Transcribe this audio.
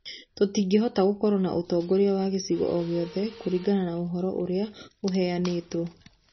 Tũtingĩhota gũkorwo na ũtongoria wa gĩcigo o gĩothe kũringana na ũhoro ũrĩa ũheanĩtwo.